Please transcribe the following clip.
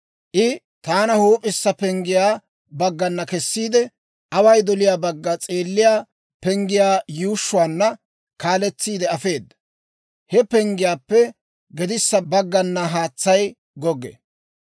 I taana huup'issa penggiyaa baggana kessiide, away doliyaa bagga s'eelliyaa penggiyaa yuushshuwaana kaaletsiide afeeda. He penggiyaappe gedissa baggana haatsay goggee.